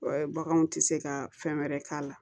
Baganw tɛ se ka fɛn wɛrɛ k'a la